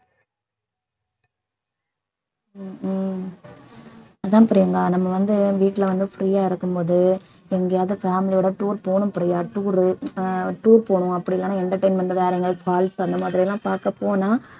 உம் உம் அதான் பிரியங்கா நம்ம வந்து வீட்டுல வந்து free யா இருக்கும்போது எங்கேயாவது family யோட tour போகணும் பிரியா tour உ அஹ் tour போணும் அப்படி இல்லைன்னா entertainment வேற எங்கயாவது falls அந்த மாதிரி எல்லாம் பார்க்க போனா